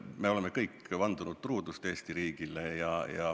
Me oleme kõik vandunud truudust Eesti riigile.